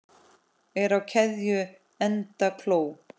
Er á keðju enda kló.